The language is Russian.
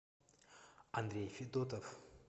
андрей федотов